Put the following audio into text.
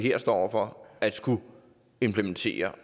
her står over for at skulle implementere